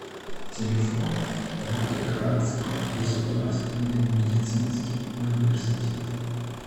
телефон волгоградский государственный медицинский университет